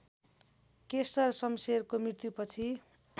केशर शम्शेरको मृत्युपछि